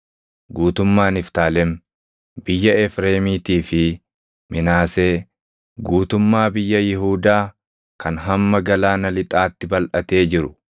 guutummaa Niftaalem, biyya Efreemiitii fi Minaasee, guutummaa biyya Yihuudaa kan hamma galaana lixaatti balʼatee jiru,